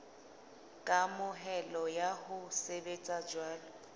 kamohelo ya ho sebetsa jwalo